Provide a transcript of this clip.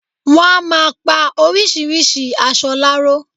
Wọ́n á máa pa orisirisi aṣọ láró.